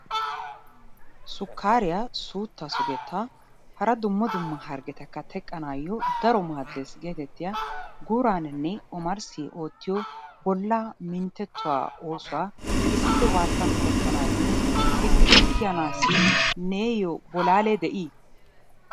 Sukkaariya suuttaa sugettaa hara dumma dumma harggetakka teqqanaayyo daro maaddes geetettiya guuraaninne omarssi oottiyo bollaa minttettuwa oosuwa issippe waattan oottanaayyo gixxidi kiyanaassi neeyyoo bolaalee de'ii?